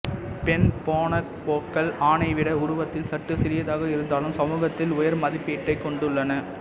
பெண் பொனொபோக்கள் ஆணைவிட உருவத்தில் சற்று சிறியதாக இருந்தாலும் சமூகத்தில் உயர் மதிப்பிடத்தை கொண்டுள்ளன